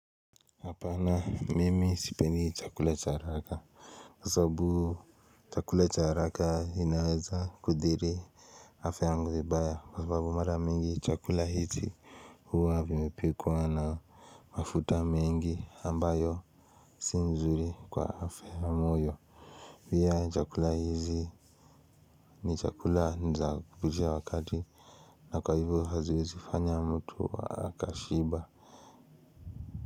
Apana mimi sipendi chakula cha haraka Kwa sababu chakula cha haraka inaweza kuthiri afya yangu vibaya, kwa sababu mara mingi chakula hizi huwa vimepikwa na mafuta mingi ambayo si nzuri kwa afya au moyo pia chakula hizi, ni chakula za kupitisha wakati na kwa hivo haziwezi fanya mtu akashiba.